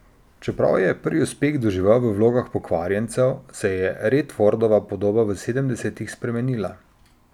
Čeprav je prvi uspeh doživel v vlogah pokvarjencev, se je Redfordova podoba v sedemdesetih spremenila.